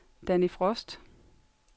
Danni Frost